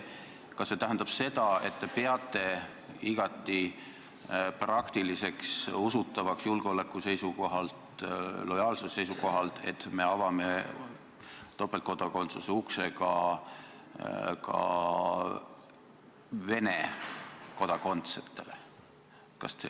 Kas see tähendab seda, et te peate julgeoleku seisukohalt, lojaalsuse seisukohalt igati praktiliseks ja usutavaks, et me avame topeltkodakondsuse ukse ka Venemaa kodanikele?